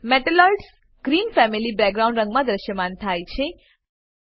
metalloids ધાતુસદૃશ green family background રંગમાં દ્રશ્યમાન થાય છે